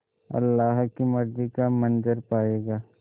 अल्लाह की मर्ज़ी का मंज़र पायेगा